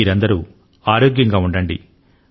మీరందరూ ఆరోగ్యం గా ఉండండి